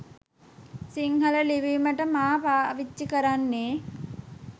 සිංහල ලිවීමට මා පාවිච්චි කරන්නේ